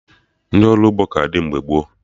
Ndị ọrụ ugbo ka dị mgbe gboo